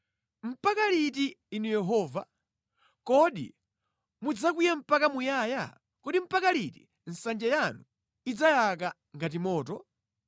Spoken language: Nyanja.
Mpaka liti Inu Yehova? Kodi mudzakwiya mpaka muyaya? Kodi mpaka liti nsanje yanu idzayaka ngati moto?